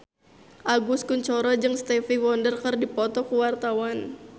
Agus Kuncoro jeung Stevie Wonder keur dipoto ku wartawan